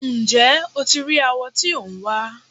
Ǹjẹ́ o ti rí awọ tí ò ń wá?